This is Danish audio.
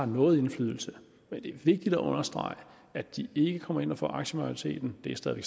noget indflydelse men det er vigtigt at understrege at de ikke kommer ind og får aktiemajoriteten det er stadig